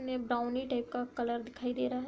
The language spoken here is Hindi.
में ब्राउनी टाइप का कलर दिखाई दे रहा है।